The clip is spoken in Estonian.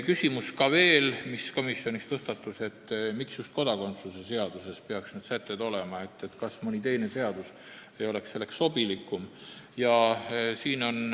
Komisjonis tõstatus veel küsimus, miks peaks need sätted just kodakondsuse seaduses olema, kas mõni teine seadus ei oleks selleks sobilikum.